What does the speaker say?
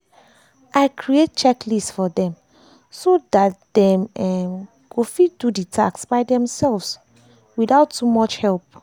i create checklist for dem so dat dem um go fit do the task by theirselves without too much help. um